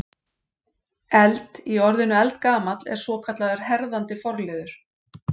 Eld- í orðinu eldgamall er svokallaður herðandi forliður.